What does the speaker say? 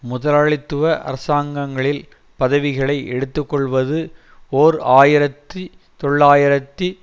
முதலாளித்துவ அரசாங்கங்களில் பதவிகளை எடுத்துக் கொள்வது ஓர் ஆயிரத்தி தொள்ளாயிரத்தி